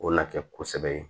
O na kɛ kosɛbɛ